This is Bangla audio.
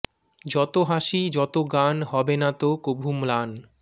যত হাসি যত গান হবে না তো কভু ম্লান